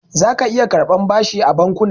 Zaka iya karɓar bashi a bankuna.